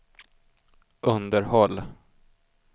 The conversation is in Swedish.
underhåll